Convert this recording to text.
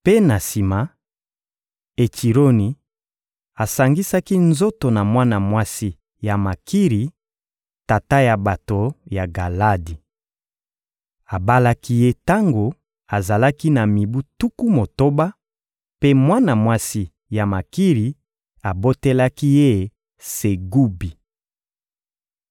Mpe na sima, Etsironi asangisaki nzoto na mwana mwasi ya Makiri, tata ya bato ya Galadi. Abalaki ye tango azalaki na mibu tuku motoba; mpe mwana mwasi ya Makiri abotelaki ye Segubi.